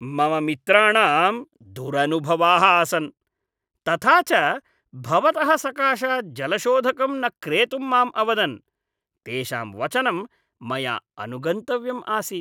मम मित्राणां दुरनुभवाः आसन्, तथा च भवतः सकाशात् जलशोधकं न क्रेतुं माम् अवदन्, तेषां वचनं मया अनुगन्तव्यम् आसीत्।